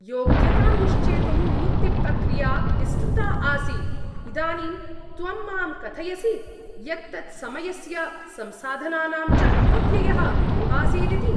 योग्यतां निश्चेतुं नियुक्तिप्रक्रिया विस्तृता आसीत्, इदानीं त्वं माम् कथयसि यत् तत् समयस्य संसाधनानां च अपव्ययः एवासीदिति।